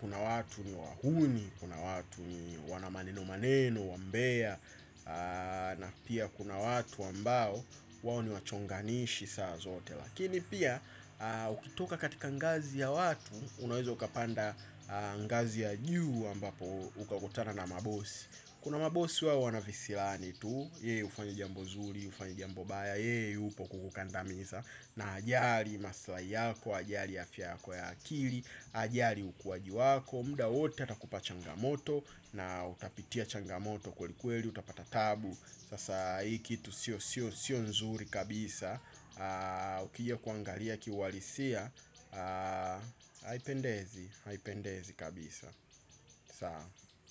Kuna watu ni wahuni, kuna watu ni wana maneno maneno, wambea. Na pia kuna watu ambao wao ni wachonganishi saa zote. Lakini pia, ukitoka katika ngazi ya watu, unawezo ukapanda ngazi ya juu ambapo ukakutana na mabosi. Kuna mabosi wao wana visirani tu, ye ufanye jambo zuri, ufanye jambo baya, ye yupo kukukandamiza. Na hajali maslahi yako, hajali afya yako ya akili, hajali ukuaji wako, muda wote atakupa changamoto. Na utapitia changamoto kwelikweli utapata taabu, sasa hii kitu sio nzuri kabisa ukija kuangalia kiuhalisia Haipendezi. Haipendezi kabisa. Sawa.